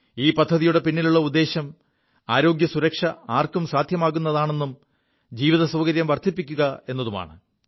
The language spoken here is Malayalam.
ഈ പദ്ധതിയുടെ പിിലുള്ള ഉദ്ദേശ്യം ആരോഗ്യസുരക്ഷ ആർക്കും സാധ്യമാക്കുകയെതും ജീവതസൌകര്യം വർധിപ്പിക്കുക എതുമാണ്